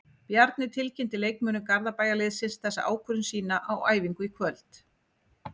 Bjarni tilkynnti leikmönnum Garðabæjarliðsins þessa ákvörðun sína á æfingu í kvöld.